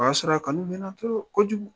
O y'a sɔrɔ a kanu bɛ n na kojugu.